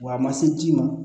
Wa a ma se ji ma